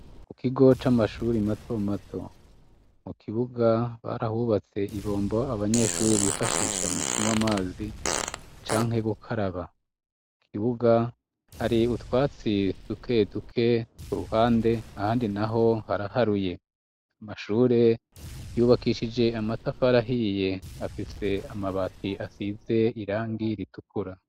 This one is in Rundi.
Ku kigo c'amashuri mato mato, mu kibuga barahubatse ibombo abanyeshuri bifashisha mu kunywa amazi, canke gukaraba kibuga hari utwatsi duke duke ku ruhande ahandi naho haraharuye. Amashure yubakishije amatafari ahiye afise amabati asize irangi ritukura.